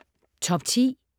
Top 10: